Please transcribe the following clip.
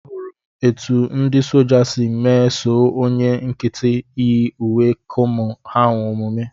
Ahụrụ m etu ndị soja si meso onye nkịtị yi uwe kamo ha omume